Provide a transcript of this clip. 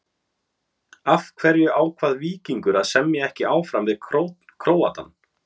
Af hverju ákvað Víkingur að semja ekki áfram við Króatann?